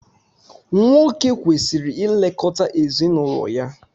nwoke kwesịrị ilekọta ezinụlọ ya